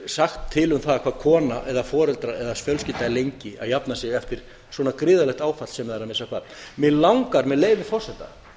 sagt til um það hvað kona eða foreldrar eða fjölskylda er lengi að jafna sig eftir svona gríðarlegt áfall sem það er að missa barn mig langar með leyfi forseta